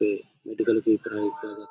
पे मेडिकल की तरह --